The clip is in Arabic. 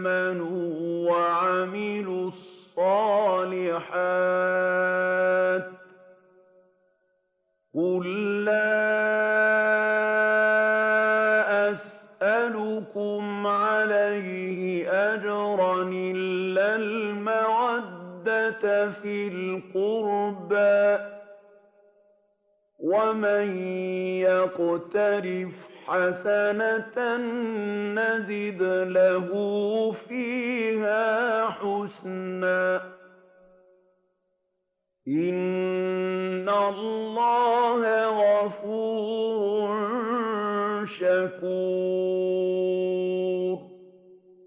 آمَنُوا وَعَمِلُوا الصَّالِحَاتِ ۗ قُل لَّا أَسْأَلُكُمْ عَلَيْهِ أَجْرًا إِلَّا الْمَوَدَّةَ فِي الْقُرْبَىٰ ۗ وَمَن يَقْتَرِفْ حَسَنَةً نَّزِدْ لَهُ فِيهَا حُسْنًا ۚ إِنَّ اللَّهَ غَفُورٌ شَكُورٌ